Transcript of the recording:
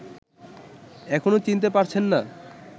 এখনো চিনতে পারছেন না